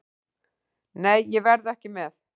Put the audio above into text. Nei, ég verð ekki með.